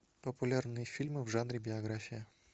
популярные фильмы в жанре биография